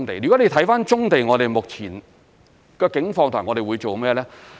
如果你看棕地，我們目前的境況和我們會做甚麼呢？